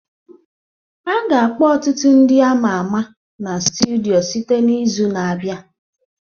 A ga-akpọ ọtụtụ ndị ama ama na studio site n'izu na-abịa